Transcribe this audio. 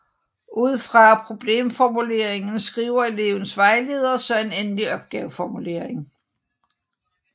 Ud fra problemformuleringen skriver elevens vejledere så en endelig opgaveformulering